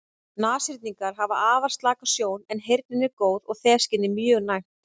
Nashyrningar hafa afar slaka sjón en heyrnin er góð og þefskynið mjög næmt.